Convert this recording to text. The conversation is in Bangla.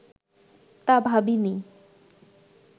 তা ভাবি নি